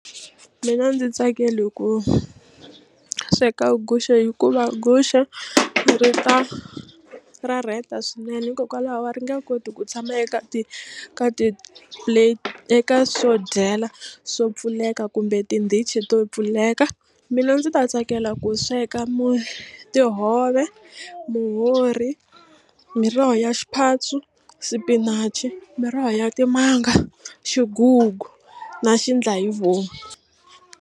Mina a ndzi tsakeli ku sweka guxe hikuva guxe ri ta ra rheta swinene hikokwalaho a ri nge koti ku tshama eka ti ka ti-plate eka swo dyela swo pfuleka kumbe tindhichi to pfuleka mina ndzi ta tsakela ku sweka tihove muhori muroho ya xiphatsu spinach miroho ya timanga xigugu na xiendlahivomu.